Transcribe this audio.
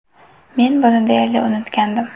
Men buni deyarli unutgandim.